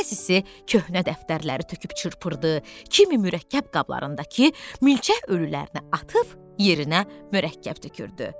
Bəzisi köhnə dəftərləri töküb çırpırdı, kimi mürəkkəb qablarındakı milçək ölülərinə atıb yerinə mürəkkəb tökürdü.